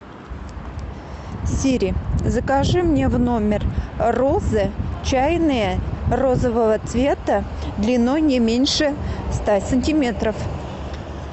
сири закажи мне в номер розы чайные розового цвета длиной не меньше ста сантиметров